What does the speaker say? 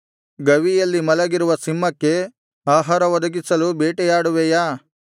ಗವಿಯಲ್ಲಿ ಮಲಗಿರುವ ಸಿಂಹಕ್ಕೆ ಆಹಾರ ಒದಗಿಸಲು ಬೇಟೆಯಾಡುವೆಯಾ